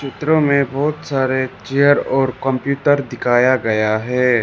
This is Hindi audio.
चित्रों में बहुत सारे चेयर और कंप्यूतर दिखाया गया है।